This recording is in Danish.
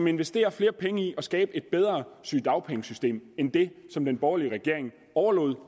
investerer flere penge i at skabe et bedre sygedagpengesystem end det som den borgerlige regering overlod